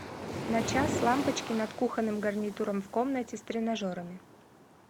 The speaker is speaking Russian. на час лампочки над кухонным гарнитуром в комнате с тренажерами